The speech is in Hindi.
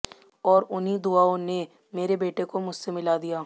और उन्हीं दुवाओं ने मेरे बेटे को मुझसे मिला दिया